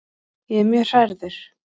Ég er mjög hrærður.